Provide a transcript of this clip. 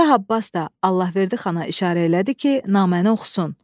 Şah Abbas da Allahverdi xana işarə elədi ki, naməni oxusun.